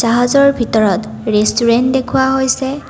জাহাজৰ ভিতৰত ৰেষ্টুৰেণ্ট দেখোৱা হৈছে।